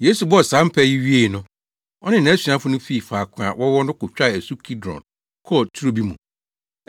Yesu bɔɔ saa mpae yi wiei no, ɔne nʼasuafo no fii faako a wɔwɔ no kotwaa asu Kidron kɔɔ turo bi mu.